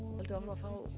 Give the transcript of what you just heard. að fá